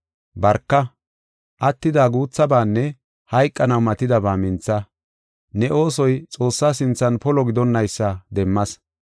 Barka; attida guuthabanne hayqanaw matidaba mintha. Ne oosoy Xoossaa sinthan polo gidonnaysa demmas.